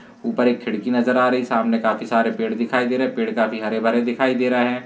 ऊपर एक खिड़की नजर आ रही सामने काफी सारे पेड़ नजर आ रहे पेड़ काफी हरे भरे दिखाई दे रहे है।